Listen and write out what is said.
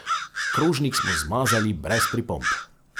Krožnik smo zmazali brez pripomb.